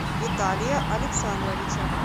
виталия александровича